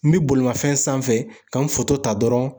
N bi bolimafɛn sanfɛ ka n foto ta dɔrɔn